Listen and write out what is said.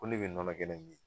Ko ne bɛ nɔnɔ kɛnɛ ɲini